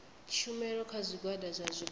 tshumelo kha zwigwada zwa zwikolo